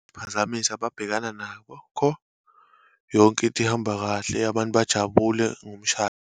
Phazamisa ababhekana nakho . Yonke into ihamba kahle, abantu bajabule ngomshado.